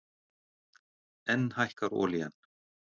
Enn hækkar olían